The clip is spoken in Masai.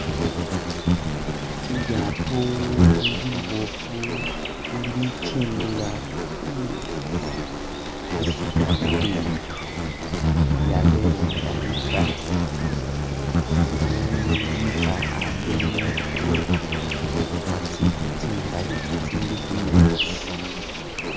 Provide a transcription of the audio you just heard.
Ilyaato liboofu ili kendela khumeetsi lisuta bibindu lyabele nga litsa limikha a'ambi ni nzu a'tsi'nzu tsingali tsitsili khumeetsi